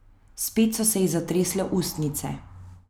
Spet so se ji zatresle ustnice.